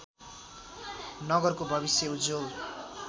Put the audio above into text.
नगरको भविष्य उज्जवल